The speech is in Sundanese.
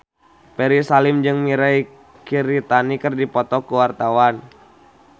Ferry Salim jeung Mirei Kiritani keur dipoto ku wartawan